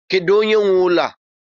Kedu onye nwe ụlọ a?